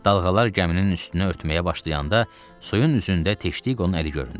Dalğalar gəminin üstünü örtməyə başlayanda, suyun üzündə Teştiqonun əli göründü.